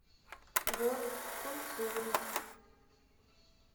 год культуры